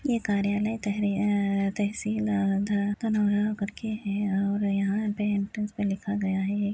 ये कार्यालय में तहरी अअ तहसील अ ध कनोरा करके है और यहाँ पे एन्ट्रन्स पे लिखा गया है--